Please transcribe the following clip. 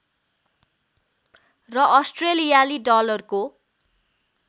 र अस्ट्रेलियाली डालरको